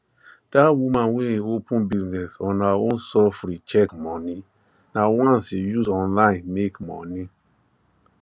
that woman wey open business on her own sufree check money nah once she use online make money